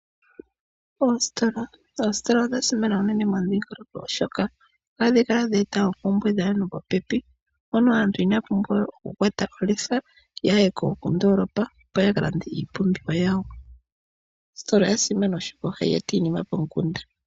Oositola odha simana uunene momudhingoloko oshoka ohadhi kala dheeta oompumbwe dhaantu popepi mpono aantu inaya pumbwa okukwata olefa yaye kondoolopa oko yakalande iipumbiwa yawo. Oositola oya simana oshoka ohayi eta iinima pomukunda.